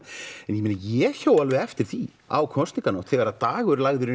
en ég hjó alveg eftir því á kosninganótt þegar Dagur lagði